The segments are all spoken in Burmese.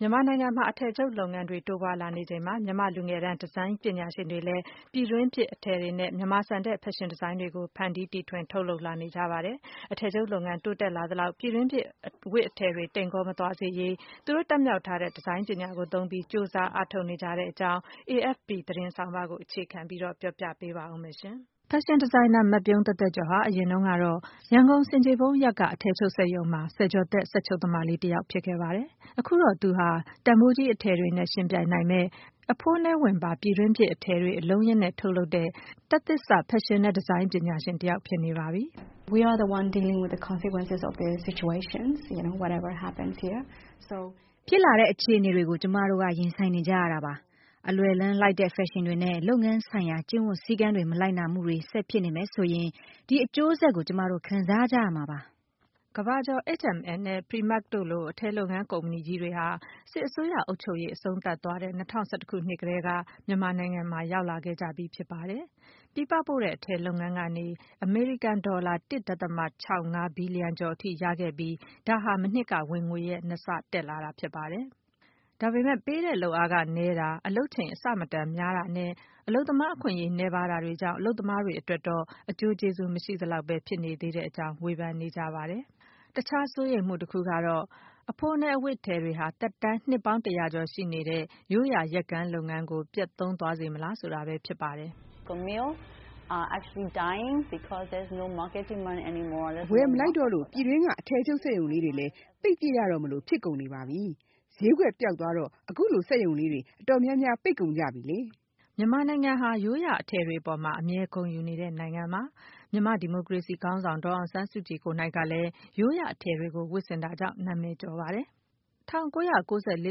မြန်မာနိုင်ငံမှာ အထည်ချုပ်လုပ်ငန်းတွေ တိုးပွားလာနေချိန်မှာ မြန်မာ့လူငယ်တန်း ဒီဇိုင်းပညာရှင်တွေကလည်း ပြည်တွင်းဖြစ် အထည်တွေနဲ့ မြန်မာဆန်တဲ့ ဖက်ရှင်ဒီဇိုင်းတွေကို ဖန်တီးတီထွင် ထုတ်လုပ်လာနေကြပါတယ်။ အထည်ချုပ်လုပ်ငန်းတိုးတက်လာသလောက် ပြည်တွင်းဖြစ် အဝတ်အထည်တွေ တိမ်ကောမသွားစေရေး သူတို့တတ်မြောက်ထားတဲ့ ဒီဇိုင်းပညာကိုသုံးပြီး ကြိုးစား အားထုတ်နေကြတဲ့အကြောင်း AFP သတင်းဆောင်းပါးကို အခြေခံပြီး မခွာညိုက ပြောပြပေးပါမယ်။ ဒီဇိုင်နာ မပြုံးသက်သက်ကျော်ဟာ အရင်တုန်းကတော့ ရန်ကုန် ဆင်ခြေဖုံးက အထည်ချုပ်စက်ရုံမှာ ဆယ်ကျော်သက် စက်ချုပ်သမလေးတယောက်ပါ။ အခုတော့ သူဟာ တန်ဖိုးကြီး အထည်တွေနဲ့ ယှဉ်ပြိုင်နိုင်မယ့် အဖိုးနည်းဝန်ပါ - ပြည်တွင်းဖြစ် အထည်တွေကို အလုံးအရင်းနဲ့ ထုတ်လုပ်တဲ့ တက်သစ်စ ဖက်ရှင်နဲ့ ဒီဇိုင်းပညာရှင်တယောက်ဖြစ်နေပါပြီ။ “ဖြစ်လာတဲ့ အခြေအနေတွေကို ကျမတို့က ရင်ဆိုင်နေကြရတာပါ။ အလွယ်လမ်းလိုက်တဲ့ ဖက်ရှင်တွေနဲ့ လုပ်ငန်းဆိုင်ရာ ကျင့်ဝတ်စည်းကမ်းတွေမလိုက်နာမှုတွေ ဆက်ဖြစ်နေမယ်ဆိုရင် ဒီအကျိုးဆက်ကို ကျမတို့ပဲ ခံစားကြရမှာပါ။” ကမ္ဘာကျော် H&M နဲ့ Primark တို့လို အထည်လုပ်ငန်း ကုမ္ပဏီတွေဟာ စစ်အစိုးရအုပ်ချုပ်ရေး အဆုံးသတ်သွားတဲ့ ၂၀၁၁ ခုနှစ်ကတည်းက မြန်မာနိုင်ငံကို ရောက်လာခဲ့ကြပြီးဖြစ်ပါတယ်။ ပြည်ပပို့တဲ့ အထည်လုပ်ငန်းကနေ အမေရိကန်ဒေါ်လာ ၁.၆၅ ဘီလီယံကျော်အထိရခဲ့ပြီး ဒါဟာ မနှစ်က ဝင်ငွေရဲ့ နှစ်ဆဖြစ်ပါတယ်။ ဒါပေမယ့် လုပ်အားခ နည်းတာ၊ အလုပ်ချိန်အဆမတန်များတာနဲ့ အလုပ်သမားအခွင့်အရေးနည်းပါးတာတွေကြောင့် အလုပ်သမားတွေ အတွက်တော့ အကျိုးကျေးဇူး မရှိသလောက်ပဲ ဖြစ်နေပါသေးကြောင်း ဝေဖန်နေကြပါတယ်။ တခြား စိုးရိမ်မှုတခုကတော့ အဖိုးနည်း အဝတ်အထည်တွေဟာ သက်တမ်း နှစ်ပေါင်း တရာကျော် ရှိနေတဲ့ ရိုးရာ ယက်ကန်းလုပ်ငန်းကို ပျက်သုဉ်းသွားစေမလားဆိုတာပဲဖြစ်ပါတယ်။ ဖက်ရှင်ဒီဇိုင်နာတယောက်ဖြစ်တဲ့ မိုဟန်ကတော့ “ အဝယ် မလိုက်တော့လို့ ဒေသတွင်း စက်ရုံလေးတွေလည်း ပိတ်ပစ်ရတော့မလို ဖြစ်ကုန်နေပါပြီ။ ဈေးကွက်ပျောက်သွားတော့ အခုဆို စက်ရုံလေးတွေ အတော်များများ ပိတ်ကုန်ကြပါပြီ။” မြန်မာနိုင်ငံဟာ ရိုးရာအထည်တွေအပေါ်မှာ အမြဲ ဂုဏ်ယူတဲ့ နိုင်ငံဖြစ်ပါတယ်။ မြန်မာ့ဒီမိုကရေစီခေါင်းဆောင်ဒေါ်အောင်ဆန်းစုကြည်ကလည်း ရိုးရာအထည်တွေကို ဝတ်ဆင်တာကြောင့် နာမည်ကျော်ခဲ့ပါတယ်။ ၁၉၉၄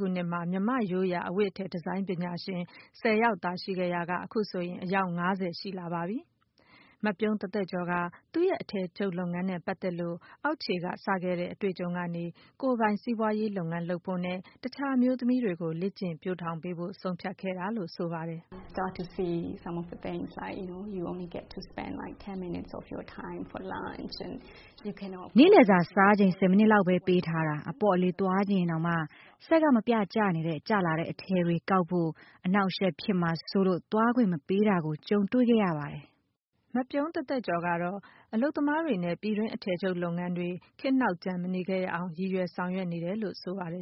ခုနှစ်တုန်းက မြန်မာ့ရိုးရာအဝတ်အထည် ဒီဇိုင်းပညာရှင် ၁၀ ယောက်သာ ရှိခဲ့ရာက အခုဆိုရင် အယောက် ၅၀ ရှိလာပါပြီ။ မပြုံးသက်သက်ကျော်က သူ့ရဲ့ အထည်ချုပ်လုပ်ငန်းနဲ့ပတ်သက်လို့ အောက်ခြေကစတဲ့ အတွေ့အကြုံတွေကနေ ကိုယ်ပိုင်စီးပွားရေးလုပ်ငန်း လုပ်ဖို့နဲ့ တခြားအမျိုးသမီးတွေကိုလည်း လေ့ကျင့်ပျိုးထောင်ပေးဖို့ ဆုံးဖြတ်ခဲ့ပါတယ်။ “နေ့လည်စာစားချိန်ဆယ်မိနစ်လောက်ပဲ ပေးထားတာ၊ အပေါ့အလေးသွားချင်ရင်တောင်မှ စက်ကမပြတ်ကျနေတဲ့ ကျလာတဲ့အထည်တွေ ကောက်ဖို့ အနှောက်အယှက်ဖြစ်မှာစိုးလို့ သွားခွင့်မပေးတာတွေကို ကြုံတွေ့ခဲ့ရပါတယ်။ ” ပြုံးသက်သက်ကျော်အနေနဲ့ အလုပ်သမားတွေနဲ့ ပြည်တွင်းအထည်လုပ်ငန်းတွေ နောက်ကျန်မနေခဲ့ရအောင် ရည်ရွယ်ဆောင်ရွက်နေတယ်လို့ ဆိုပါတယ်